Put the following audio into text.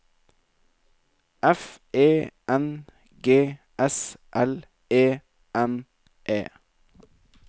F E N G S L E N E